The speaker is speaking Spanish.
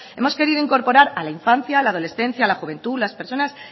hemos querido incorporar a la infancia a la adolescencia a la juventud las personas